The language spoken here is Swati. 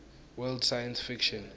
world science fiction